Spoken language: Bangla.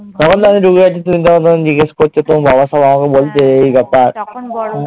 তখন তো আমি ঢুকে গেছি তুমি তখন তখন জিজ্ঞাসা করছো তোমার বাবা সব আমাকে বলছে এই কথা